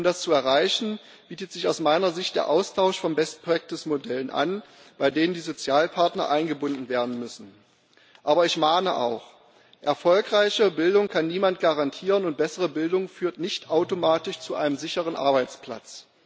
Um das zu erreichen, bietet sich aus meiner Sicht der Austausch von best practice Modellen an, bei denen die Sozialpartner eingebunden werden müssen. Aber ich mahne auch Erfolgreiche Bildung kann niemand garantieren, und bessere Bildung führt nicht automatisch zu einem sicheren Arbeitsplatz.